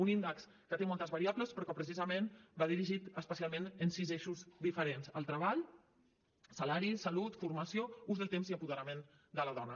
un índex que té moltes variables però que precisament va dirigit especialment a sis eixos diferents el treball salari salut formació ús del temps i apoderament de la dona